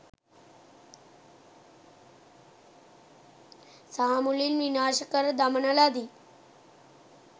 සහමුලින් විනාශ කර දමන ලදී.